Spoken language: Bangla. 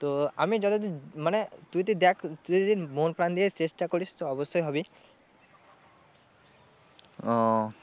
তো আমি যতদূর, মানে তুই তো দেখ তুই যদি মন প্রাণ দিয়ে চেষ্টা করিস তুই অবশ্যই হবি ও